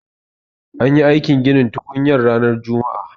An yi aikin ginin tukunyar ranar juma'a.